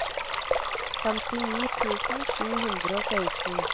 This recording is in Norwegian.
femtini tusen sju hundre og seksten